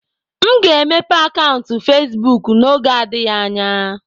M ga-emepe akaụntụ Facebook n'oge adịghị anya.